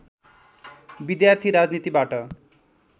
विद्यार्थी राजनीतिबाट